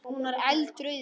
Hún var eldrauð í framan.